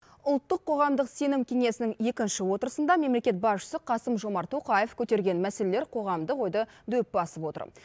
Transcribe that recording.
ұлттық қоғамдық сенім кеңесінің екінші отырысында мемлекет басшысы қасым жомарт тоқаев көтерген мәселелер қоғамдық ойды дөп басып отыр